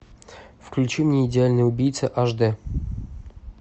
включи мне идеальный убийца аш дэ